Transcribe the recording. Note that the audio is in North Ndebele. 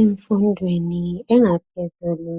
emfundweni engaphezulu